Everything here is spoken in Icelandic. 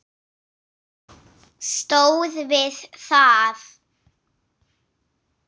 Stóð við það.